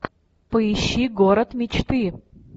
поищи город мечты